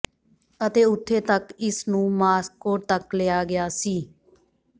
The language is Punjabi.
ਅਤੇ ਉੱਥੇ ਤੱਕ ਇਸ ਨੂੰ ਮਾਸ੍ਕੋ ਤੱਕ ਲਿਆ ਗਿਆ ਸੀ